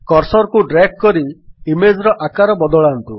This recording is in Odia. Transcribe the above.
କର୍ସର୍ କୁ ଡ୍ରାଗ୍ କରି ଇମେଜ୍ ର ଆକାର ବଦଳାନ୍ତୁ